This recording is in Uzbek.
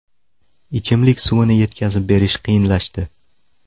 Ichimlik suvini yetkazib berish qiyinlashdi.